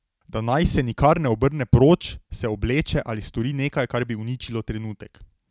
Da naj se nikar ne obrne proč, se obleče ali stori nekaj, kar bi uničilo trenutek.